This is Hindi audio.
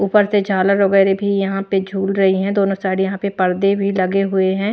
ऊपर से झालर वगैरह भी यहां पे झूल रही है दोनों साइड यहां पे पर्दे भी लगे हुए हैं।